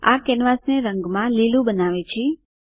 આ કેનવાસને રંગમાં લીલું બનાવે છે